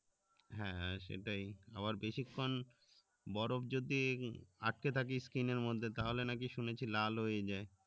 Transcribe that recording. হ্যাঁ সেটাই আবার বেশি খান বরফ যদি আটকে থাকে skin এর মধ্যে তাহলে নাকি শুনেছি লাল হয়ে যায়